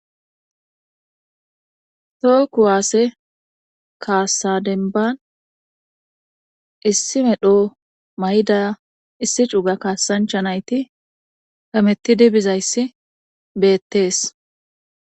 too kuwaasse kaasa denban issi medho may7da issi cuga kaasancha nayti Hamettidi bizayssi beettees